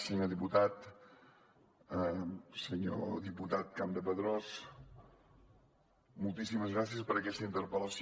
senyor diputat senyor diputat campdepadrós moltíssimes gràcies per aquesta interpel·lació